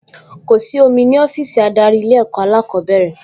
Kò sí omi ní ọ́fíìsì adarí Ilé-ẹ̀kọ́ alákọ̀ọ́bẹ̀rẹ̀